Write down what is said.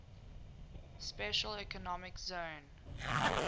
special economic zone